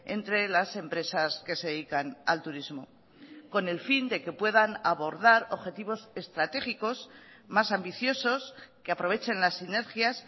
entre las empresas que se dedican al turismo con el fin de que puedan abordar objetivos estratégicos más ambiciosos que aprovechen las sinergias